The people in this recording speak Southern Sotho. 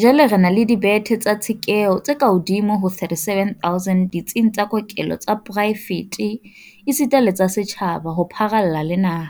Jwale re na le dibethe tsa tshekeho tse kahodimo ho 37 000 ditsing tsa kokelo tsa poraefete esita le tsa setjhaba ho pharalla le naha,